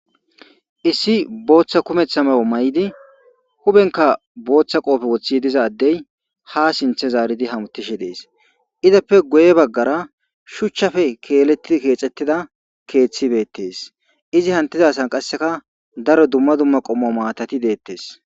issi booththa kumetha mayo may7idi hubenka booththa qoofe woththi dizaddey ha sinthe zaaridi hamutishe dees izappe guye baggara shuchchafe keeletti keexettida keeththibeettees izi hantizasan qasseka daro dumma dumma qommo maatati deettes